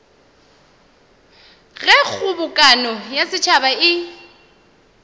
ge kgobokano ya setšhaba e